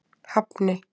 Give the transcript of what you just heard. Hafni